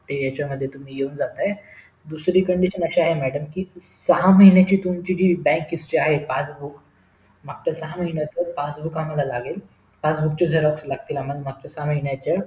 ते यांच्या मध्ये येऊन जाताय दुसरी condition असं आहे madam कि सहा महिन्याचे तुमची जी bank history आहे passbook मागच्या सहा महिन्याचं passbook आम्हाला लागेल passbook चे xerox लागतील मागच्या सहा महिन्याचं